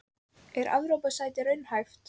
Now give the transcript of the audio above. Er Evrópusæti raunhæft?